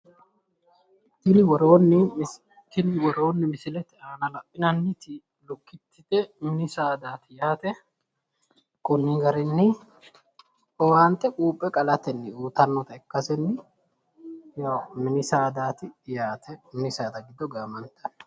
Tini misilete aana la'inanniti mini saada giddo lukkittete tinino quuphe qalatenni horo uyitannote.